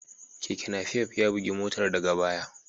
Keken Napep ya bugi motar daga baya.